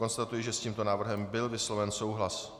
Konstatuji, že s tímto návrhem byl vysloven souhlas.